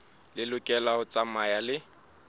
e lokela ho tsamaya le